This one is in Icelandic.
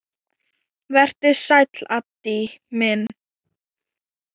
Vertu sæll, Addi minn.